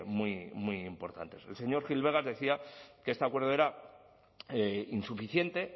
muy muy importantes el señor gil vegas decía que este acuerdo era insuficiente